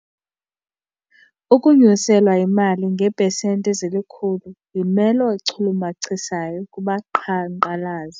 Ukunyuselwa imali ngeepesenti ezilikhulu yimelo echulumachisayo kubaqhankqalazi.